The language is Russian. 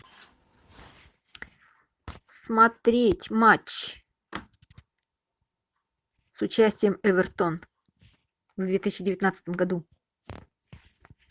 смотреть матч с участием эвертон в две тысячи девятнадцатом году